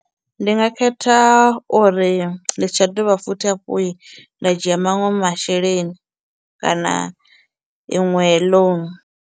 Ndi nga khetha uri ndi si tsha dovha futhi hafhu nda dzhia maṅwe masheleni kana iṅwe loan.